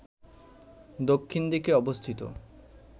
দক্ষিণ দিকে অবস্থিত